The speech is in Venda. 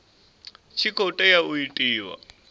tshi khou tea u itiwa